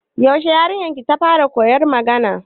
Yaushe yarinyar ki ta fara koyan magana?